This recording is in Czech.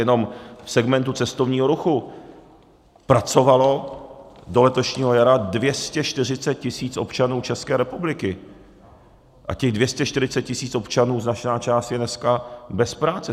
Jenom v segmentu cestovního ruchu pracovalo do letošního jara 240 tisíc občanů České republiky a těch 240 tisíc občanů, značná část, je dneska bez práce.